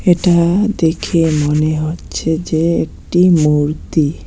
এটা দেখে মনে হচ্ছে যে একটি মূর্তি।